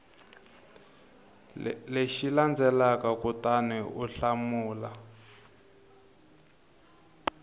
lexi landzelaka kutani u hlamula